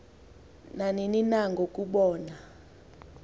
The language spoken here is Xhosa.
nanini na ngokubona